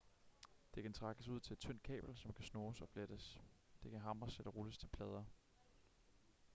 det kan trækkes ud til et tyndt kabel som kan snoes og flettes det kan hamres eller rulles til plader